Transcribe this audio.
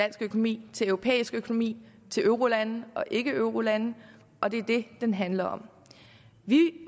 økonomi til europæisk økonomi til eurolande ikkeeurolande og det er det den handler om vi